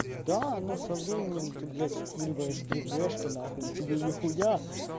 да но со временем ты блять скуриваешь три гэшки нахуй и тебе нихуя